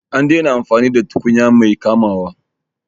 An daina amfani da tukunya mai kamawa